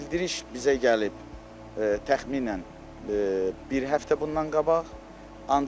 Bildiriş bizə gəlib təxminən bir həftə bundan qabaq.